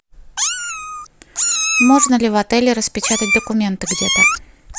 можно ли в отеле распечатать документы где то